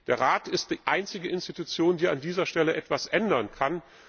Der Rat ist die einzige Institution, die an dieser Stelle etwas ändern kann.